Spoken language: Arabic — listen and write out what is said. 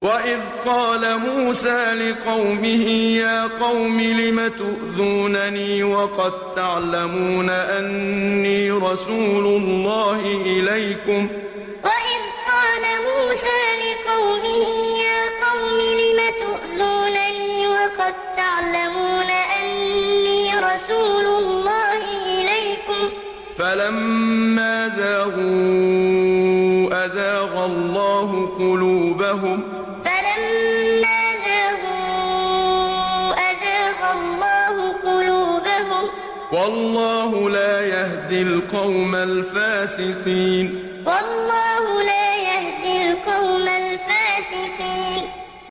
وَإِذْ قَالَ مُوسَىٰ لِقَوْمِهِ يَا قَوْمِ لِمَ تُؤْذُونَنِي وَقَد تَّعْلَمُونَ أَنِّي رَسُولُ اللَّهِ إِلَيْكُمْ ۖ فَلَمَّا زَاغُوا أَزَاغَ اللَّهُ قُلُوبَهُمْ ۚ وَاللَّهُ لَا يَهْدِي الْقَوْمَ الْفَاسِقِينَ وَإِذْ قَالَ مُوسَىٰ لِقَوْمِهِ يَا قَوْمِ لِمَ تُؤْذُونَنِي وَقَد تَّعْلَمُونَ أَنِّي رَسُولُ اللَّهِ إِلَيْكُمْ ۖ فَلَمَّا زَاغُوا أَزَاغَ اللَّهُ قُلُوبَهُمْ ۚ وَاللَّهُ لَا يَهْدِي الْقَوْمَ الْفَاسِقِينَ